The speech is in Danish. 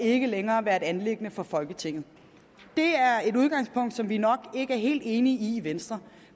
og ikke længere være et anliggende for folketinget det er et udgangspunkt som vi nok ikke er helt enige i i venstre